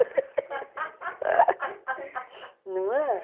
Não é?